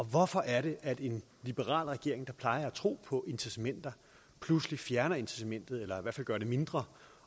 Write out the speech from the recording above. hvorfor er det at en liberal regering der plejer at tro på incitamenter pludselig fjerner incitamentet eller i hvert fald gør det mindre